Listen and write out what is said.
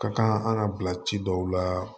Ka kan an ka bila ci dɔw la